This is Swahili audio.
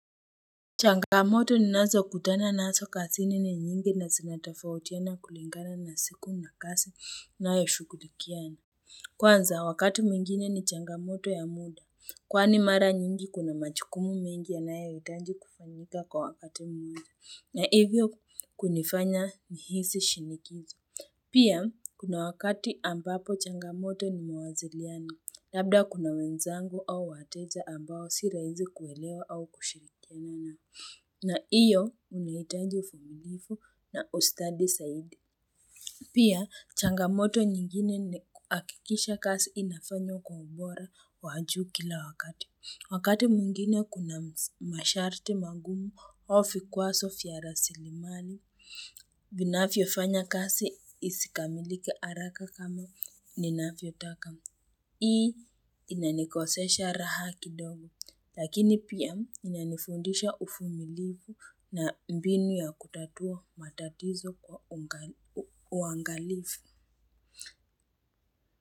Changamoto n nazo kutana nazo kazini ni nyingi na zinatofautiana kulingana na siku na kazi ninayo shughulikia. Kwanza, wakati mwingine ni changamoto ya muda, kwa ni mara nyingi kuna majukumu mengi yanayo hitaji kufanyika kwa wakati mwingi, na hivyo kunifanya nihisi shinikizi. Pia, kuna wakati ambapo changamoto ni mawasiliano, labda kuna wenzangu au wateja ambao si rahisi kuelewa au kushirikiana nao. Na iyo, huni hitaji uvumilivu na ustadi zaidi. Pia, changamoto nyingine ni kuhakikisha kazi inafanywa kwa ubora wajuu kila wakati. Wakati mwingine kuna masharti magumu au vikwazo vya rasilimali, vinavyo fanya kazi isikamilike haraka kama ninavyo taka. Hii inanikosesha raha kidogo, lakini pia inanifundisha uvumilivu na mbinu ya kutatua matatizo kwa uangalifu.